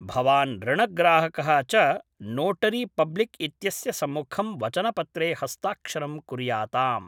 भवान् ऋणग्राहकः च नोटरीपब्लिक्‌ इत्यस्य सम्मुखं वचनपत्रे हस्ताक्षरं कुर्याताम्